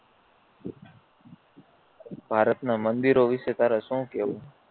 ભારતના મંદિરો વિષે તારે શું કેવું